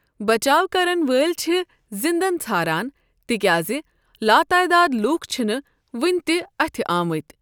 بچاو كرن وٲلۍ چھ زنٛدن ژھاران، تِكیازِ لاتعداد لوٗکھ چھنہٕ وٕنہِ تہِ اتھِ آمٕتۍ۔